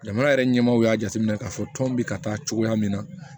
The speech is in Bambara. Jamana yɛrɛ ɲɛmaw y'a jateminɛ k'a fɔ tɔn bɛ ka taa cogoya min na